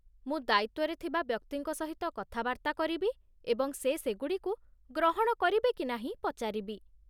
ମୁଁ ଦାୟିତ୍ୱରେ ଥିବା ବ୍ୟକ୍ତିଙ୍କ ସହିତ କଥାବାର୍ତ୍ତା କରିବି ଏବଂ ସେ ସେଗୁଡ଼ିକୁ ଗ୍ରହଣ କରିବେ କି ନାହିଁ ପଚାରିବି।